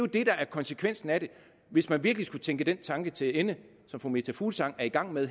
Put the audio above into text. det der er konsekvensen af det hvis man virkelig skulle tænke den tanke til ende som fru meta fuglsang er i gang med